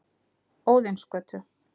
Óðinsgötu